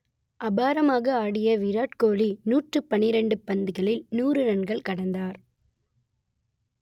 அபாரமாக ஆடிய விராட் கோலி நூற்று பனிரண்டு பந்துகளில் நூறு ரன்களை கடந்தார்